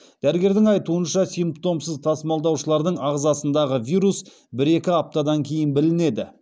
дәрігердің айтуынша симптомсыз тасымалдаушылардың ағзасындағы вирус бір екі аптадан кейін білінеді